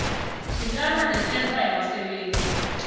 thintana nesentha yezabasebenzi